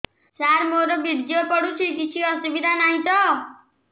ସାର ମୋର ବୀର୍ଯ୍ୟ ପଡୁଛି କିଛି ଅସୁବିଧା ନାହିଁ ତ